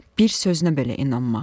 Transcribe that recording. Bir sözünə belə inanma.